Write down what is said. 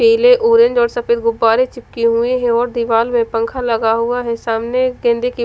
पीले ऑरेंज और सफ़ेद गुब्बारे चिपके हुए है और दीवाल में पंखा लगा हुआ है सामने गेंदे के--